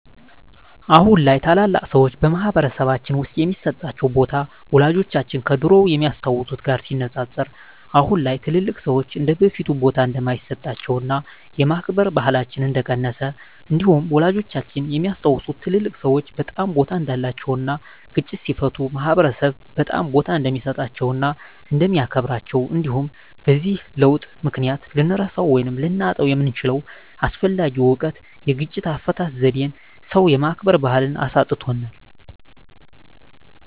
አሁን ላይ ታላላቅ ሰዎች በማህበረሰልባችን ውስጥ የሚሰጣቸው ቦታ ወላጆቻችን ከድሮው ከሚያስታውት ጋር ሲነፃፀር አሁን ላይ ትልልቅ ሰዎች እንደበፊቱ ቦታ እንደማይሰጣቸውና የማክበር ባህላችን እንደቀነሰ እንዲሁም ወላጆቻችን የሚያስታውሱት ትልልቅ ሰዎች በጣም ቦታ እንዳላቸው እና ግጭትን ሲፈቱ ማህበረሰብ በጣም ቦታ እንደሚሰጣቸው እና እንደሚያከብራቸው እንዲሁም በዚህ ለውጥ ምክንያት ልንረሳው ወይም ልናጣው የምንችለው አስፈላጊ እውቀት የግጭት አፈታት ዜዴን ሰው የማክበር ባህልን አሳጥቶናል።